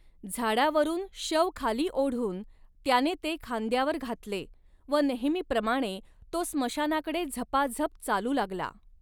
झाडावरून शव खाली ओढून त्याने ते खांद्यावर घातले व नेहमीप्रमाणे तो स्मशानाकडे झपाझप चालू लागला.